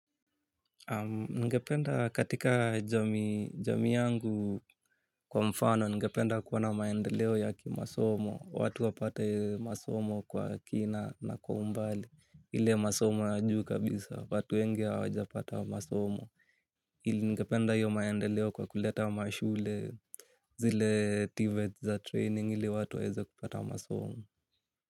Ningependa katika jamii yangu kwa mfano, ningependa kuwana maendeleo yaki masomo, watu wapate masomo kwa kina na kwa umbali, ile masomo ya juu kabisa, watu wengi awajapata masomo, ili ngependa hiyo maendeleo kwa kuleta mashule zile tvet za training ili watu waeze kupata masomo.